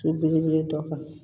So belebele dɔ kan